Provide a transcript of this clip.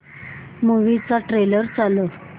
movie चा trailer चालव